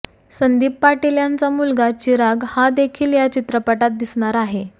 संदीप पाटील यांचा मुलगा चिराग हा देखील या चित्रपटात दिसणार आहे